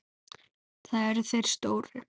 Það eru þeir stóru.